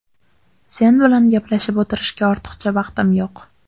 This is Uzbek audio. Sen bilan gaplashib o‘tirishga ortiqcha vaqtim yo‘q.